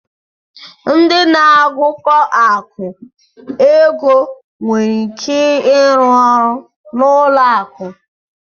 Ndị na-agụkọ akụ̀ (ego) nwere ike ịrụ ọrụ n'ụlọ akụ.